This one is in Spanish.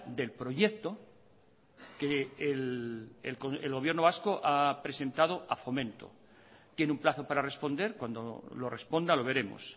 del proyecto que el gobierno vasco ha presentado a fomento tiene un plazo para responder cuando lo responda lo veremos